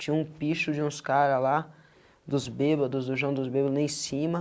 Tinha um picho de uns cara lá dos bebados, o joão dos bebados, lá em cima.